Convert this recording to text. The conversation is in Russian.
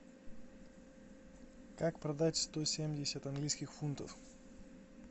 как продать сто семьдесят английских фунтов